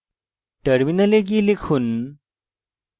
terminal গিয়ে লিখুন